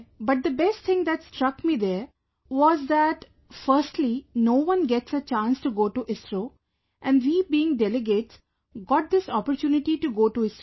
But the best thing that struck me there, was that firstly no one gets a chance to go to ISRO and we being delegates, got this opportunity to go to ISRO